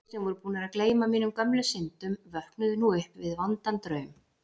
Allir sem voru búnir að gleyma mínum gömlu syndum vöknuðu nú upp við vondan draum.